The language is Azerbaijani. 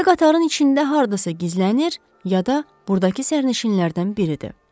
Ya qatarın içində hardasa gizlənir, ya da burdakı sərnişinlərdən biridir.